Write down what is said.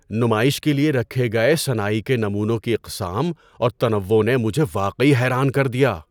نمائش کے لیے رکھے گئے صناعی کے نمونوں کی اقسام اور تنوع نے مجھے واقعی حیران کر دیا۔